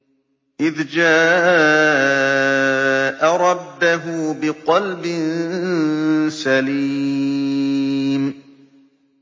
إِذْ جَاءَ رَبَّهُ بِقَلْبٍ سَلِيمٍ